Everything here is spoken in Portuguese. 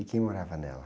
E quem morava nela?